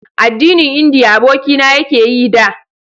addinin indiya abokina ya ke yi da